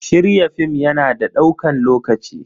Shirya film ya na da ɗaukan lokaci.